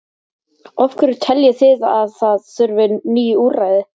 Af hverju teljið þið að það þurfi ný úrræði?